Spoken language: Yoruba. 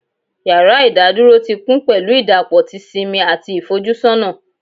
Yara idaduro ti kun pẹlu idapọ ti simi ati ifojusona